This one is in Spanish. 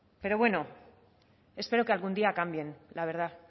pero bueno espero que algún día cambien la verdad